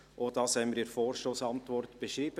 auch das haben wir in der Vorstossantwort beschrieben.